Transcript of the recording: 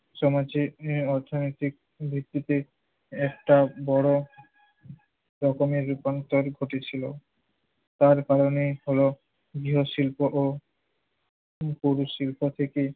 সমাজে আহ অর্থনৈতিক মৃত্যুকে একটা বড় রকমের রূপান্তর ঘটেছিল। যার কারণে হলো গৃহশিল্প ও পুরশিল্প থেকে